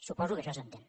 suposo que això s’entén